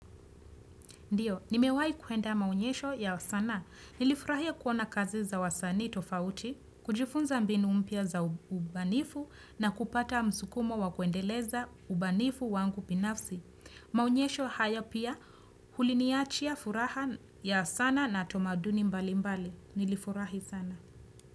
Ndiyo, nimewai kuenda maonyesho ya sanaa. Nilifurahia kuona kazi za wasanii tofauti, kujifunza mbinu mpya za ubanifu na kupata msukumo wa kuendeleza ubanifu wangu binafsi. Maonyesho haya pia uliniachia furaha ya sana na tamaduni mbalimbali. Nilifurahi sana.